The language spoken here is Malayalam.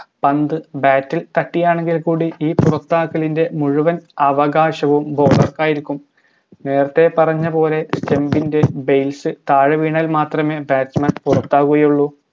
പന്ത് bat ഇൽ തട്ടിയാണെങ്കിൽ കൂടി ഈ പുറത്താക്കലിൻറെ മുഴുവൻ അവകാശവും bowler ക്കായിരിക്കും നേരത്തെ പറഞ്ഞത് പോലെ stump ൻറെ base താഴെ വീണാൽ മാത്രമേ batsman പുറത്താവുകയുള്ളു